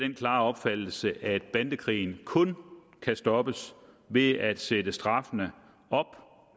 den klare opfattelse at bandekrigen kun kan stoppes ved at sætte straffene op